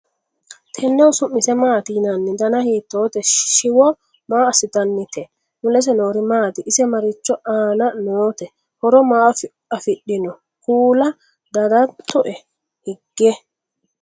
Tennehu su'mise maatti yinnanni? danna hiittotte? shiwo maa asinannitte? mulese noori maatti? ise marichi aanna nootte? horo maa afidhinno kulla dandaatto hige?